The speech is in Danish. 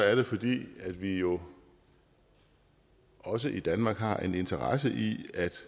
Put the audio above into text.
er det fordi vi jo også i danmark har en interesse i